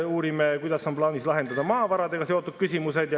Uurime, kuidas on plaanis lahendada maavaradega seotud küsimused.